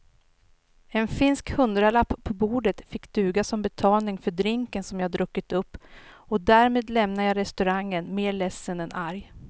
En finsk hundralapp på bordet fick duga som betalning för drinken som jag druckit upp och därmed lämnade jag restaurangen mer ledsen än arg.